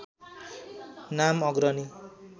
नाम अग्रणी